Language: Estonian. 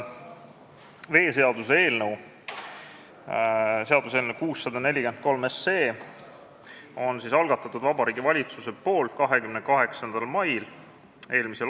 Veeseaduse eelnõu 643 algatas Vabariigi Valitsus 28. mail m.